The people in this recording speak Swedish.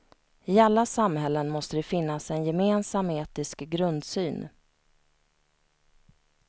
I alla samhällen måste det finnas en gemensam etisk grundsyn.